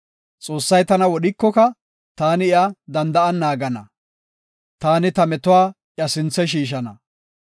Xoossay tana wodhikoka taani iya danda7an naagana; taani ta metuwa iya sinthe shiishana.